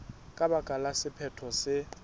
ka baka la sephetho se